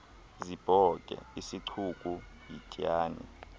zibhoke isicuku yityani